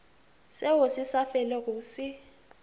seo se sa felego se